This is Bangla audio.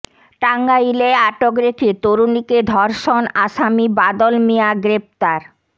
টাঙ্গাইলে আটকে রেখে তরুণীকে ধর্ষণ আসামি বাদল মিয়া গ্রেপ্তার